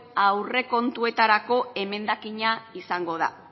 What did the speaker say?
aurrekontuetarako emendakina izango da